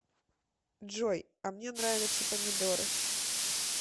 джой а мне нравятся помидоры